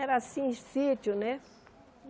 Era assim, sítio, né?